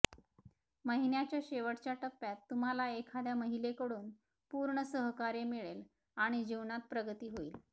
महिन्याच्या शेवटच्या टप्प्यात तुम्हाला एखाद्या महिलेकडून पूर्ण सहकार्य मिळेल आणि जीवनात प्रगती होईल